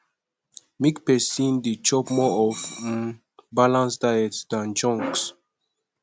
make persin de chop more of um balance diet than junks